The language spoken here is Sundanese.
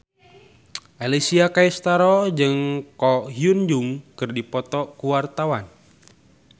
Alessia Cestaro jeung Ko Hyun Jung keur dipoto ku wartawan